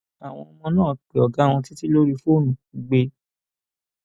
àwọn ọmọ náà pé ọgá wọn títí lórí fóònù kó gbé e